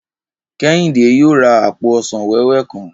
Kẹ́hìndé yóò ra àpò ọsàn wẹ́wẹ́ kan